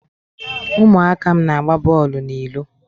ụmụaka m na-agba bọọlụ n'ilo.